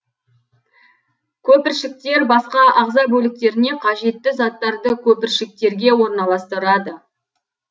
көпіршіктер басқа ағза бөліктеріне қажетті заттарды көпіршіктерге орналастырады